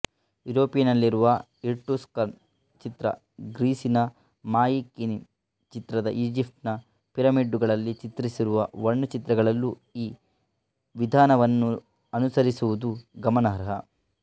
ಯೂರೋಪಿನಲ್ಲಿರುವ Etruscan ಚಿತ್ರ ಗ್ರೀಸಿನ ಮಾಯಿಕೀನೀ ಚಿತ್ರ ಈಜಿಪ್ಟಿನ ಪಿರಮಿಡ್ಡುಗಳಲ್ಲಿ ಚಿತ್ರಿಸಿರುವ ವರ್ಣಚಿತ್ರಗಳಲ್ಲೂ ಈ ವಿಧಾನವನ್ನನುಸರಿಸಿರುವುದು ಗಮನಾರ್ಹ